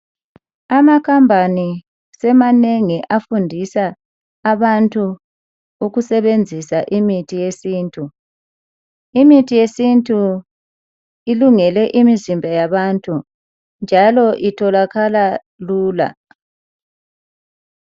Amakhampani semanengi afundisa abantu ukusebenzisa imithi yesintu. Imithi yesintu ilungele imizimba yabantu njalo itholakala lula.